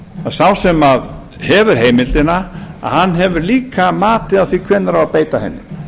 að sá sem hefur heimildina hefur líka matið á því hvenær á að beita henni